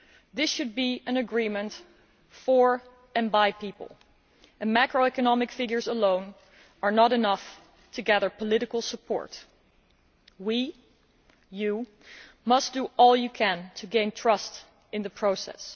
This should be an agreement for and by people, and macroeconomic figures alone are not enough to gather political support. We and you, Commissioner must do all you can to gain trust in the process.